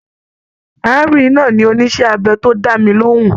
Arábìnrin náà ni oníṣe abẹ to dá mí lohùn.